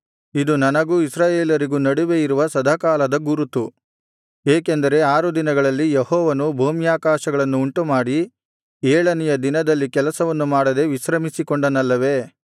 ಇದು ನನಗೂ ಇಸ್ರಾಯೇಲರಿಗೂ ನಡುವೆಯಿರುವ ಸದಾಕಾಲದ ಗುರುತು ಏಕೆಂದರೆ ಆರು ದಿನಗಳಲ್ಲಿ ಯೆಹೋವನು ಭೂಮ್ಯಾಕಾಶಗಳನ್ನು ಉಂಟುಮಾಡಿ ಏಳನೆಯ ದಿನದಲ್ಲಿ ಕೆಲಸವನ್ನು ಮಾಡದೇ ವಿಶ್ರಮಿಸಿಕೊಂಡನಲ್ಲವೇ